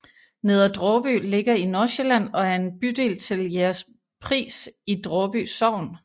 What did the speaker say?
Neder Dråby ligger i Nordsjælland og er en bydel til Jægerspris i Draaby Sogn